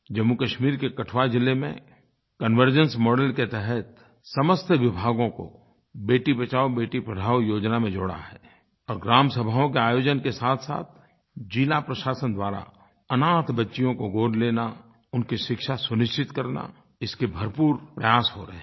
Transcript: जम्मूकश्मीर के कठुआ ज़िले में कन्वर्जेंस मॉडेल के तहत समस्त विभागों को बेटी बचाओबेटी पढ़ाओ योजना में जोड़ा है और ग्रामसभाओं के आयोजन के साथसाथ ज़िला प्रशासन द्वारा अनाथ बच्चियों को गोद लेना उनकी शिक्षा सुनिश्चित करना इसके भरपूर प्रयास हो रहे हैं